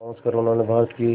पहुंचकर उन्होंने भारत की